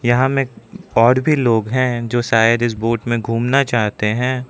यहां में और भी लोग हैं जो शायद इस बोट में घूमना चाहते हैं।